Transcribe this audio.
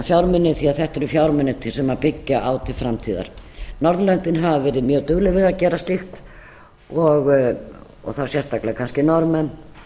fjármuni því að þetta eru fjármunir sem byggja á til framtíðar norðurlöndin hafa verið mjög dugleg við að gera slíkt og þá sérstaklega kannski norðmenn